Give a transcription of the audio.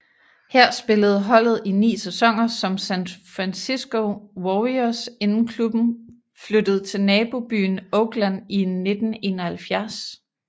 Her spillede holdet i 9 sæsoner som San Francisco Warriors inden klubben flyttede til nabobyen Oakland i 1971